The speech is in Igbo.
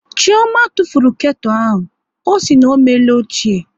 Chioma tụfuru ketu ahụ, ọ sị na ọ meela ochie